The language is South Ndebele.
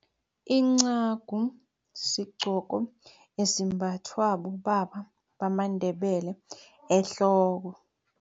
Incagu sigcoko esimbathwa bobaba bamaNdebele ehloko.